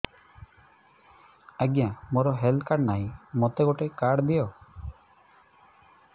ଆଜ୍ଞା ମୋର health card ନାହିଁ ମୋତେ ଗୋଟେ କାର୍ଡ ଦିଅ